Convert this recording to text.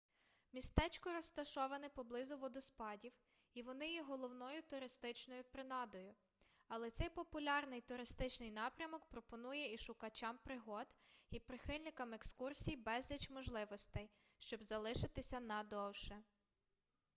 містечко розташоване поблизу водоспадів і вони є головною туристичною принадою але цей популярний туристичний напрямок пропонує і шукачам пригод і прихильникам екскурсій безліч можливостей щоб залишитися на довше